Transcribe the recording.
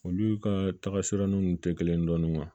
Olu ka tagasiranni nn tɛ kelen dɔɔnin